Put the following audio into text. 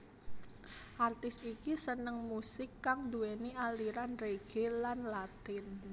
Artis iki seneng musik kang nduwéni aliran reggae lan latin